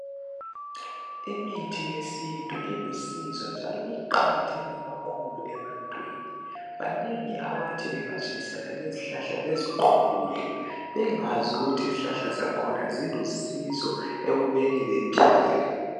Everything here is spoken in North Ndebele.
Imithi yesintu ilusizo njalo iqakatheke kakhulu ebantwini banengi abathi bengatshayisana lezihlahla beziqhulule bengazi ukuthi izihlahla zakhona zilusizo ekubeni bephile.